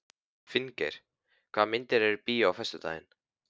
Finngeir, hvaða myndir eru í bíó á föstudaginn?